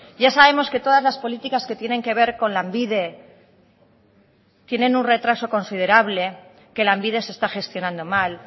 ya sabemos que todas las políticas que tienen que ver con lanbide tienen un retraso considerable que lanbide se está gestionando mal